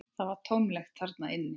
Það var tómlegt þarna inni.